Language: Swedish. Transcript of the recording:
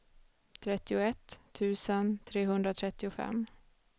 trettioett tusen trehundratrettiofem